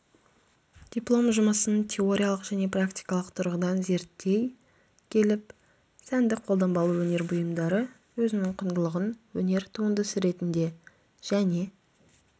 диплом жұмысын теориялық және практикалық тұрғыдан зертей келіп сәндік қолданбалы өнер бұйымдары өзінің құндылығын өнер туындысы ретінде және